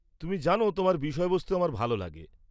তুমি জান তোমার বিষয়বস্তু আমার ভাল লাগে।